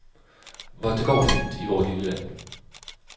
Hvor det går fint i vort lille land.